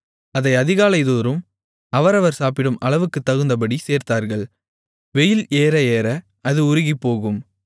அதை அதிகாலைதோறும் அவரவர் சாப்பிடும் அளவுக்குத்தகுந்தபடி சேர்த்தார்கள் வெயில் ஏறஏற அது உருகிப்போகும்